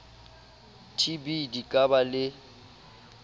tb di ka ba le